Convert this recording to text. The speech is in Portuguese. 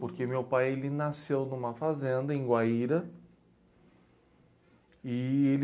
Porque meu pai ele nasceu numa fazenda em Guaíra e ele...